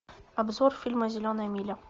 обзор фильма зеленая миля